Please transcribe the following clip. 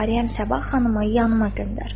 Cariyəm Sabah xanımı yanıma göndər.